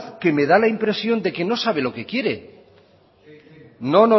que me da la impresión de que no sabe lo que quiere no